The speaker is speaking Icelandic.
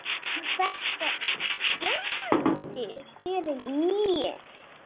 Og þetta skemmdi fyrir mér.